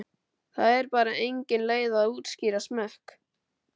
Það er bara engin leið að útskýra smekk.